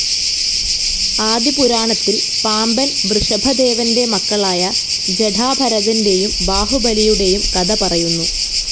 ആദി പുരാണത്തിൽ പാമ്പൻ വൃഷഭദേവൻ്റെ മക്കളായ ജടാഭരതൻ്റെയും ബാഹുബലിയുടെയും കഥ പറയുന്നു.